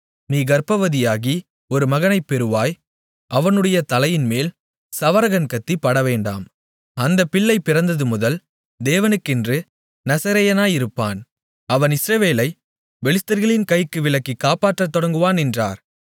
நீ கர்ப்பவதியாகி ஒரு மகனைப் பெறுவாய் அவனுடைய தலையின்மேல் சவரகன் கத்தி படவேண்டாம் அந்தப் பிள்ளை பிறந்ததுமுதல் தேவனுக்கென்று நசரேயனாயிருப்பான் அவன் இஸ்ரவேலைப் பெலிஸ்தர்களின் கைக்கு விலக்கிக் காப்பாற்றத் தொடங்குவான் என்றார்